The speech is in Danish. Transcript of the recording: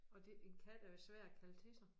Og det en kat er jo svær at kalde til sig